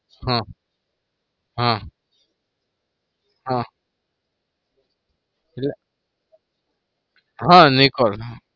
હા હા હા એટલે હા નિકોલ